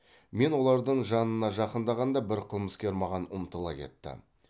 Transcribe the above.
мен олардың жанына жақындағанда бір қылмыскер маған ұмтыла кетті